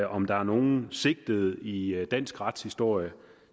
om der er nogen sigtede i dansk retshistorie